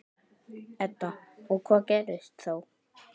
Edda: Og hvað gerist þá?